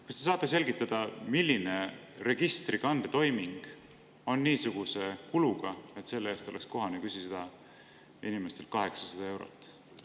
Kas te saate selgitada, milline registrikande toiming on niisuguse kuluga, et selle eest oleks kohane küsida inimestelt 800 eurot?